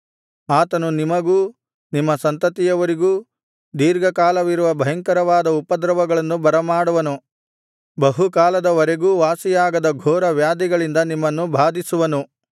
ಆತನು ನಿಮಗೂ ನಿಮ್ಮ ಸಂತತಿಯವರಿಗೂ ದೀರ್ಘಕಾಲವಿರುವ ಬಹುಭಯಂಕರವಾದ ಉಪದ್ರವಗಳನ್ನು ಬರಮಾಡುವನು ಬಹುಕಾಲದವರೆಗೂ ವಾಸಿಯಾಗದ ಘೋರ ವ್ಯಾಧಿಗಳಿಂದ ನಿಮ್ಮನ್ನು ಬಾಧಿಸುವನು